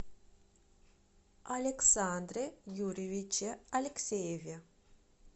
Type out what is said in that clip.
александре юрьевиче алексееве